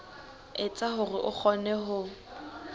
etsa hore o kgone ho